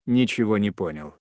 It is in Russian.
ничего не понял